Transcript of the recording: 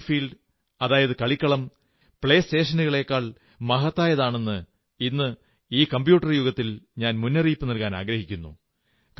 playing field കളിക്കളം പ്ലേസ്റ്റേഷനേക്കാൾ മഹത്തായതാണെന്ന് ഇന്ന് ഈ കമ്പ്യൂട്ടർ യുഗത്തിൽ ഞാൻ മുന്നറിയിപ്പു നൽകാനാഗ്രഹിക്കുന്നു